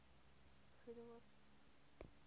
goede hoop